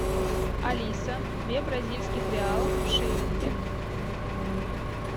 алиса две бразильских реалов в шиллинги